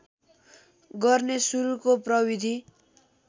गर्ने सुरुको प्रविधि